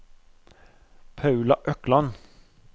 Paula Økland